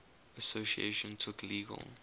association took legal